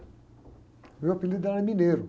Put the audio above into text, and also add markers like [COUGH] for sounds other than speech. O meu apelido era. [UNINTELLIGIBLE]